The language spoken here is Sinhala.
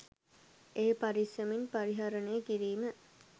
එය පරිස්සමින් පරිහරණය කිරීම